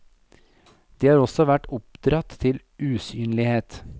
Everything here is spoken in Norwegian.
De har også vært oppdratt til usynlighet.